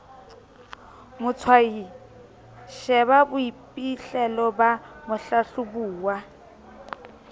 motshwayi sheba boiphihlelo ba mohlahlobuwa